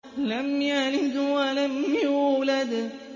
لَمْ يَلِدْ وَلَمْ يُولَدْ